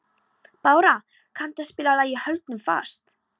Bára, kanntu að spila lagið „Höldum fast“?